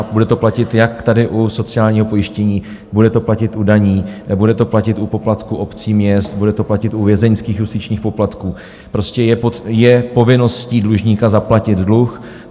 A bude to platit jak tady u sociálního pojištění, bude to platit u daní, bude to platit u poplatku obcí, měst, bude to platit u vězeňských justičních poplatků, prostě je povinností dlužníka zaplatit dluh.